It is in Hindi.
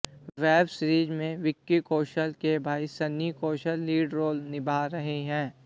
वेब सीरीज में विक्की कौशल के भाई सनी कौशल लीड रोल निभा रहे हैं